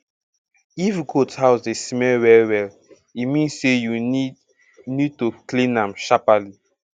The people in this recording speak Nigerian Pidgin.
if goat house dey smell well well e mean say you need need to clean am sharperly